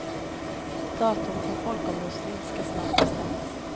Datum för folkomröstning ska snart bestämmas.